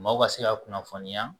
Maaw ka se ka kunnafoniya